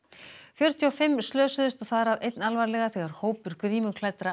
fjörutíu og fimm slösuðust þar af einn alvarlega þegar hópur